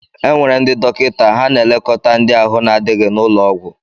Enwere ndị dọkịta, ha na-elekóta ndị ahụ na-adịghi n'ụlọọgwú.